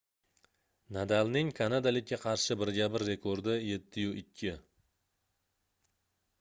nadalning kanadalikka qarshi birga-bir rekordi 7-2